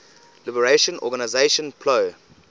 liberation organization plo